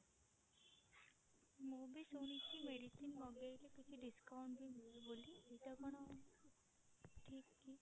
ମୁଁ ବି ଶୁଣିଛି medicine ମଗେଇଲେ କିଛି discount ବି ମିଳେ ବୋଲି ଏଇଟା କଣ ଠିକ କି?